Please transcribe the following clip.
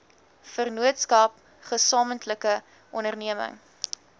vennootskap gesamentlike onderneming